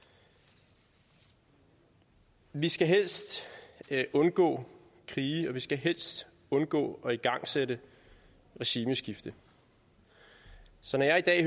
vi vi skal helst undgå krige og vi skal helst undgå at igangsætte et regimeskifte så når jeg i dag